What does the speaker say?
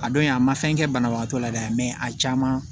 A don in a ma fɛn kɛ banabagatɔ la dɛ a caman